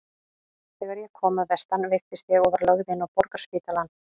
Þegar ég kom að vestan veiktist ég og var lögð inn á Borgarspítalann.